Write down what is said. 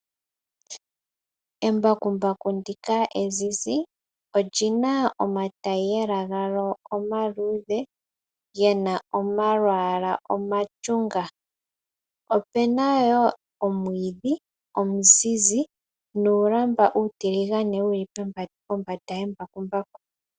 Embakumbaku ndika ezizi, olyina omatayiyela galyo omaluudhe gena omalwalwa omashunga. Opena wo omwiidhi omazizi nuulamba uutiligane wuli kombanda yembakumbaku.